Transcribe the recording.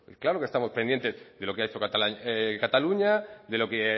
claro que estamos pendientes de lo que ha hecho cataluña de lo que